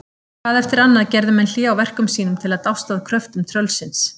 Hvað eftir annað gerðu menn hlé á verkum sínum til að dást að kröftum tröllsins.